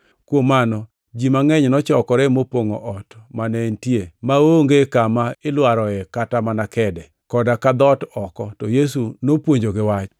Kuom mano ji mangʼeny nochokore mopongʼo ot mane entie maonge kama ilwaroe kata mana kede, koda ka dhoot oko, to Yesu nopuonjogi Wach.